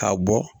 K'a bɔ